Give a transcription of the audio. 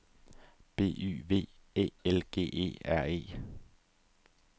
B Y V Æ L G E R E